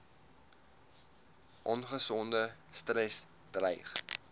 ongesonde stres dreig